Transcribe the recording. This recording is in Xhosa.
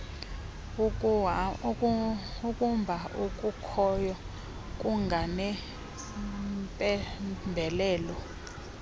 ukumba okukhoyo kunganempembelelo